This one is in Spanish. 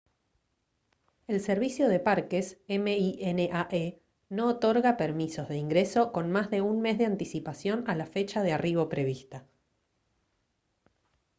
el servicio de parques minae no otorga permisos de ingreso con más de un mes de anticipación a la fecha de arribo prevista